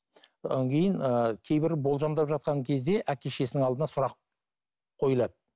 одан кейін ыыы кейбір болжамдап жатқан кезде әке шешесінің алдында сұрақ қойылады